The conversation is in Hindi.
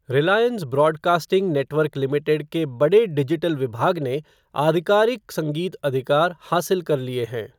रिलायंस ब्रॉडकास्टिंग नेटवर्क लिमिटेड के बड़े डिजिटल विभाग ने आधिकारिक संगीत अधिकार हासिल कर लिए हैं।